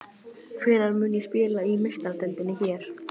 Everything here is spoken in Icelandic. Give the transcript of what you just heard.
Hvenær mun ég spila í Meistaradeildinni hér?